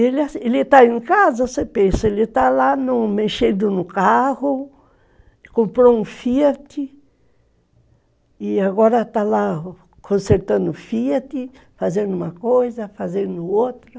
Ele, ele está em casa, você pensa, ele está lá mexendo no carro, comprou um Fiat e agora está lá consertando o Fiat, fazendo uma coisa, fazendo outra.